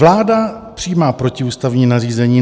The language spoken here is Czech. Vláda přijímá protiústavní nařízení.